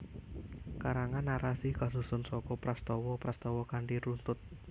Karangan narasi kasusun saka prastawa prastawa kanthi runtut